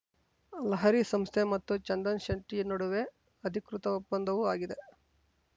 ಲಹರಿ ಸಂಸ್ಥೆ ಮತ್ತು ಚಂದನ್‌ ಶೆಟ್ಟಿನಡುವೆ ಅಧಿಕೃತ ಒಪ್ಪಂದವೂ ಆಗಿದೆ